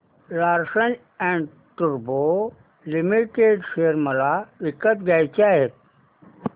Larsen and टुर्बो limited share मला विकत घ्यायचे आहेत